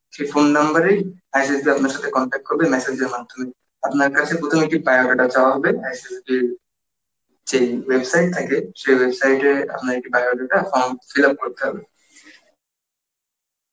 সেই phone number এ ISSB আপনার সথে contact করবে messager মাধ্যমে, আপনার কাছে প্রথমে কি bio data চাওয়া হবে ISSB র যেই website থাকে সেই website এ আপনাদের কে bio data form fill up করতে হবে